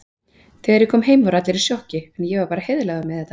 Þegar ég kom heim voru allir í sjokki, en ég var bara heiðarlegur með þetta.